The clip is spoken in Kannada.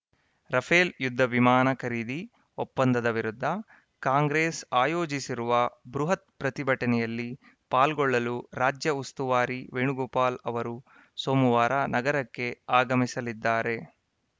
ರಫೇಲ್‌ ಯುದ್ಧವಿಮಾನ ಖರೀದಿ ಒಪ್ಪಂದದ ವಿರುದ್ಧ ಕಾಂಗ್ರೆಸ್‌ ಆಯೋಜಿಸಿರುವ ಬೃಹತ್‌ ಪ್ರತಿಭಟನೆಯಲ್ಲಿ ಪಾಲ್ಗೊಳ್ಳಲು ರಾಜ್ಯ ಉಸ್ತುವಾರಿ ವೇಣುಗೋಪಾಲ್‌ ಅವರು ಸೋಮವಾರ ನಗರಕ್ಕೆ ಆಗಮಿಸಲಿದ್ದಾರೆ